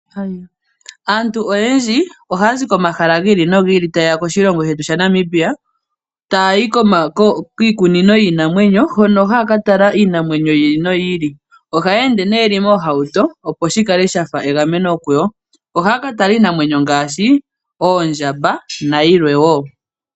Aantu oyendji ohaa zi komahala gi ili nogi ili, taye ya koshilongo shetu sha Namibia taayi kiikunino yiinamwenyo hono haa ka tala iinamwenyo yi ili noyi ili. Ohaye ende nee yeli moohauto opo shi kale shafa egameno kuyo. Ohaya ka tala iinamwenyo ngaashi oondjamba nayilwe wo.